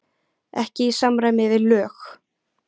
Ekki í samræmi við lög